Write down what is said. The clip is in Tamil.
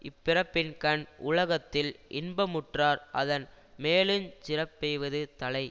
இப்பிறப்பின்கண் உலகத்தில் இன்பமுற்றார் அதன் மேலுஞ் சிறப்பெய்வது தலை